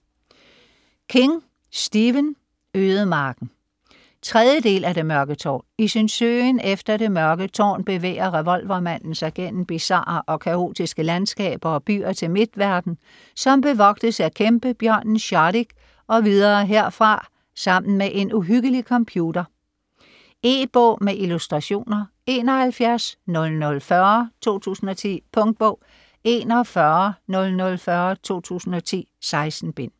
King, Stephen: Ødemarken 3. del af Det mørke tårn. I sin søgen efter det Mørke Tårn bevæger revolvermanden sig gennem bizarre og kaotiske landskaber og byer til Midtverden, som bevogtes af kæmpebjørnen Shardik og videre herfra sammen med en uhyggelig computer. E-bog med illustrationer 710040 2010. Punktbog 410040 2010. 16 bind.